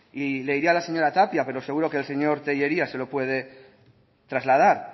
y le diría a la señora tapia pero seguro que el señor tellería se lo puede trasladar